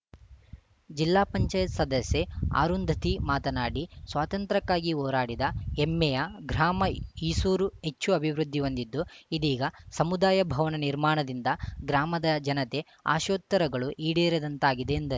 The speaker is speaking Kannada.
ಜಿಲ್ಲಾ ಪಂಚಾಯತ್ ಸದಸ್ಯೆ ಆರುಂಧತಿ ಮಾತನಾಡಿ ಸ್ವಾತಂತ್ರ್ಯಕ್ಕಾಗಿ ಹೋರಾಡಿದ ಹೆಮ್ಮೆಯ ಗ್ರಾಮ ಈಸೂರು ಹೆಚ್ಚು ಅಭಿವೃದ್ಧಿ ಹೊಂದಿದ್ದು ಇದೀಗ ಸಮುದಾಯ ಭವನ ನಿರ್ಮಾಣದಿಂದ ಗ್ರಾಮದ ಜನತೆ ಆಶೋತ್ತರಗಳು ಈಡೇರಿದಂತಾಗಿದೆ ಎಂದರು